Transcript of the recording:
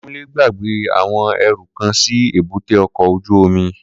Kunle gbàgbé àwọn ẹrú kan sí èbúté ọkọ̀ ojú omi